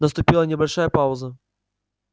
наступила небольшая пауза